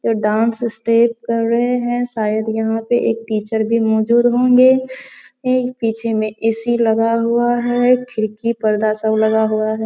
ये dance step कर रहें हैं शायद यहाँ पे एक टीचर भी मौजूद होंगे। पिछे में ए.सी. लगा हुआ है खिड़की पर्दा सब लगा हुआ है।